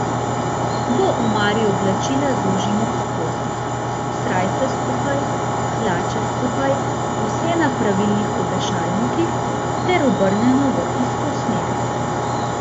V omari oblačila zložimo po kosih, srajce skupaj, hlače skupaj, vse na pravilnih obešalnikih ter obrnjeno v isto smer.